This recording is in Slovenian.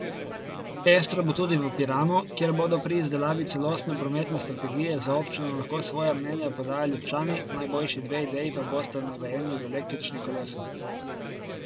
Pestro bo tudi v Piranu, kjer bodo pri izdelavi celostne prometne strategije za občino lahko svoja mnenja podajali občani, najboljši dve ideji pa bosta nagrajeni z električnim kolesom.